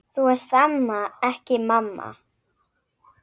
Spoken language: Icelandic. Þú ert amma, ekki mamma.